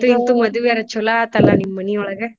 ಅಂತು ಇಂತು ಮದ್ವಿ ಅರಾ ಚೋಲೊ ಆಯ್ತಲ್ಲ ನಿಮ್ ಮನಿಯೊಳಗ.